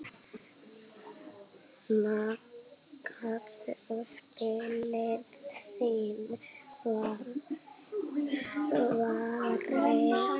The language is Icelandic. Nagaðu spilin þín var svarið.